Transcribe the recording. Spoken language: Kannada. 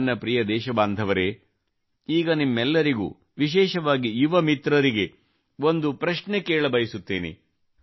ನನ್ನ ಪ್ರಿಯ ದೇಶಬಾಂಧವರೆ ಈಗ ನಿಮ್ಮೆಲ್ಲರಿಗೆ ವಿಶೇಷವಾಗಿ ಯುವಮಿತ್ರರಿಗೆ ಒಂದು ಪ್ರಶ್ನೆ ಕೇಳಬಯಸುತ್ತೇನೆ